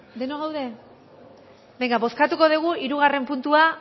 denok gaude bozkatuko dugu hirugarren puntua